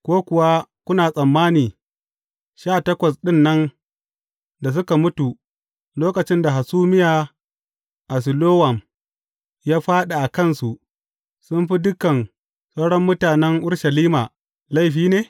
Ko kuwa kuna tsammani, sha takwas ɗin nan da suka mutu lokacin da hasumiya a Silowam ya fāɗi a kansu, sun fi dukan sauran mutanen Urushalima laifi ne?